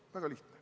Väga lihtne.